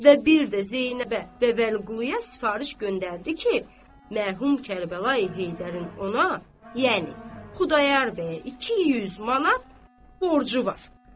Və bir də Zeynəbə və Vəliquluya sifariş göndərdi ki, mərhum Kərbəlayı Heydərin ona, yəni Xudayar bəyə 200 manat borcu var.